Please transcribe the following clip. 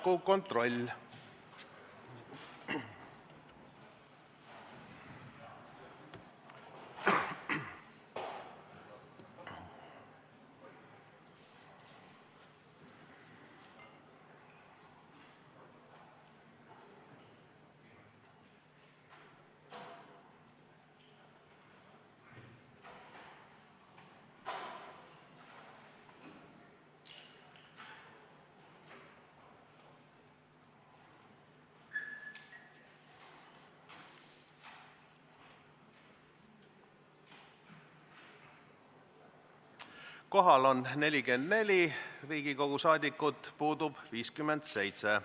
Kohaloleku kontroll Kohal on 44 Riigikogu liiget, puudub 57.